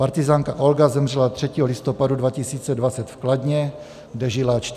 Partyzánka Olga zemřela 3. listopadu 2020 v Kladně, kde žila 40 let.